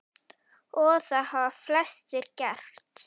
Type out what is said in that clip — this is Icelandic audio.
Og það hafa flestir gert.